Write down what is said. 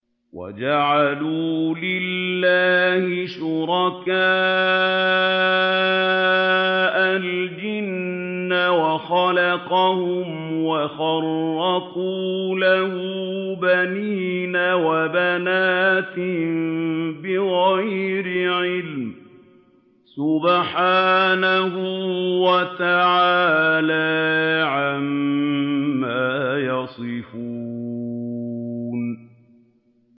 وَجَعَلُوا لِلَّهِ شُرَكَاءَ الْجِنَّ وَخَلَقَهُمْ ۖ وَخَرَقُوا لَهُ بَنِينَ وَبَنَاتٍ بِغَيْرِ عِلْمٍ ۚ سُبْحَانَهُ وَتَعَالَىٰ عَمَّا يَصِفُونَ